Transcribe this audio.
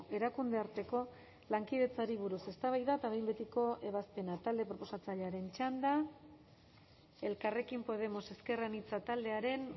erakunde arteko lankidetzari buruz eztabaida eta behin betiko ebazpena talde proposatzailearen txanda elkarrekin podemos ezker anitza taldearen